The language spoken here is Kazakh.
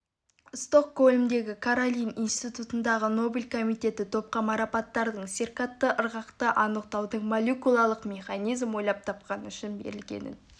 стокгольмдегі каролин институтының нобель комитеті топқа марапаттың циркадты ырғақты анықтайтын молекулалық механизм ойлап тапқаны үшін берілгенін